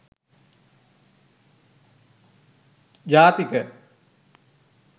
jathika